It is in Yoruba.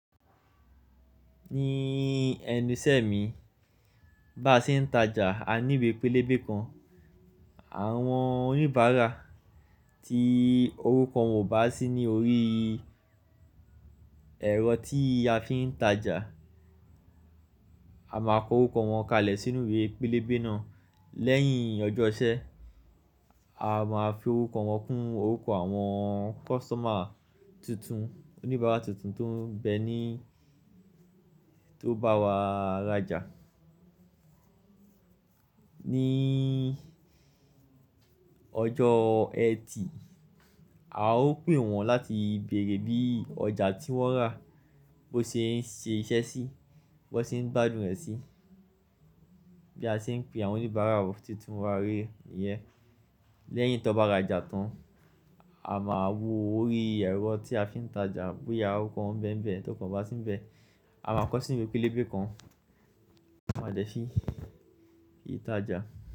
Ní ẹnu isẹ́ mi, bá ṣe ń ta ja, a ní iwe pélébé kan. Àwọn oníbàárà tí orúkọ wọn ò bá sí ní orí ẹ̀rọ tí a fi ń ta ja, a máa kọ orúkọ wọn kalẹ̀ sínú ibi pélébé náà. Lẹ́yìn ọjọ́ iṣẹ́, a máa fi orúkọ wọn kún orúkọ àwọn kọ́sítọ́mà tuntun, oníbàárà tuntun tó ń bẹ ní tó bá wa rajà. Ní ọjọ́ Ẹtì, a ó pè wọ́n láti bèrè bí ọjà tí wọ́n rà ó ṣe ń ṣe iṣẹ́ sí, biwọ́n ṣe ń gbádùn rẹ̀ sí. Bí a ṣe ń pe àwọn oníbàárà tuntun wá ré yẹ́n. Lẹ́yìn tó bá rajà tán, a máa wo orí ẹ̀rọ tí a fi ń ta ja bóyá orúkọ wọn bẹ́ ń bẹ, t'óruko won ko bá sí ń bẹ. A máa kọ sí inú ìwé pélébé kan, a máa jẹ́ fi ìtajà.